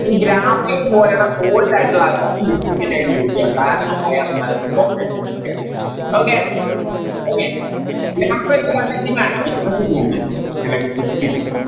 ഈ Graphite പോലെയുള്ള Solid ആയിട്ടുള്ള ആൾക്കാരെ Lubricant ആയിട്ട് Use ചെയ്യാം കാരണം അയാള് Okay okay graphite conducting ആണ് electricity